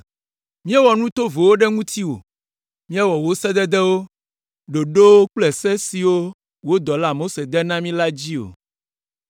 Míewɔ nu tovowo ɖe ŋutiwò, míewɔ wò sededewo, ɖoɖowo kple se siwo wò dɔla Mose de na mí la dzi o.